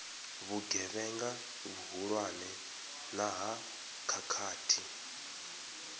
vhugevhenga vhuhulwane na ha khakhathi